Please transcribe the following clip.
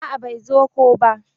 A'a bai zo ko ba.